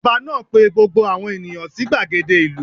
Ọba náà pe gbogbo àwọn ènìyàn sí gbàgede ìlú